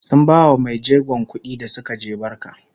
sun bawa maijegon kuɗi da Suka je barka